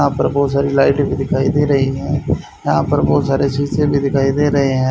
यहां पर बहोत सारी लाइट भी दिखाई दे रही है यहां पर बहोत सारे शीशे भी दिखाई दे रहे हैं।